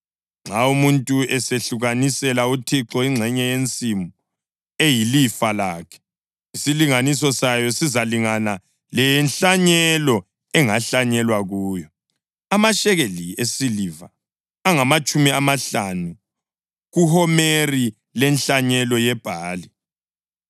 Nxa umuntu esahlukanisela uThixo ingxenye yensimu eyilifa lakhe, isilinganiso sayo sizalingana lenhlanyelo engahlanyelwa kuyo, amashekeli esiliva angamatshumi amahlanu kuhomeri lenhlanyelo yebhali.